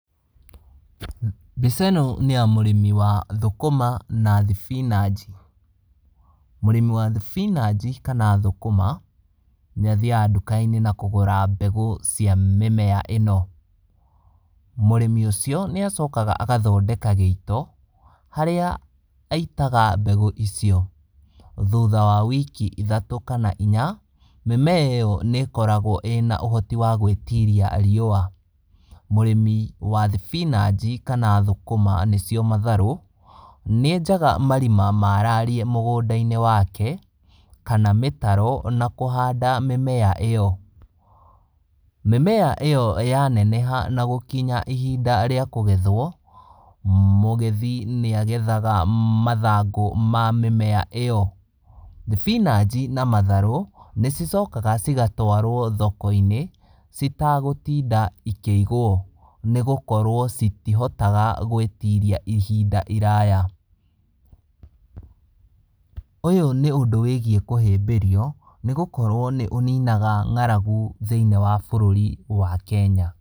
Mbica ĩno nĩya mũrĩmi wa thũkũma na thibinaci, mũrĩmi wa thibinaci kana thũkũma, nĩathiaga ndũkainĩ na kũgũra mbegũ cia mĩmera ĩno. Mũrĩmi ũcio nĩacokaga agathondeka gĩito, harĩa aitaga mbegũ icio. Thutha wa wiki ithatũ kana inya, mĩmera ĩyo nĩkoragwo ĩna ũhoti wa gwĩtiria riũa, ,mũrĩmi wa thibinaci kana thũkũma, nĩcio matharũ, nĩenjaga marima marariĩ mũgũnda wake, kana mĩtaro na kũhanda mĩmera ĩyo. Mĩmera ĩyo ya neneha, na gũkinya ihinda rĩa kũgethwo, mũgethi nĩagethaga mathangũ ma mĩmera ĩyo. Thibinaci na matharũ, nĩcicokaga cigatwarwo thokoinĩ, citagũtinda ikĩigwo, nĩgũkorwo citihotaga gwĩtiria ihinda iraya. Ũyũ nĩ ũndũ wĩgiĩ kũhĩmbĩrio, nĩgũkorwo nĩ ũninaga ngaragu thiinĩ wa bũrũri wa Kenya.